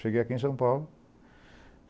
Cheguei aqui em São Paulo.